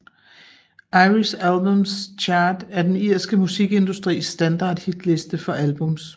Irish Albums Chart er den irske musikindustris standard hitliste for albums